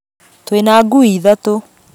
Twĩ na ngui ithatũ